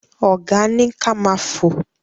Ọ̀gá ni ka ma fò.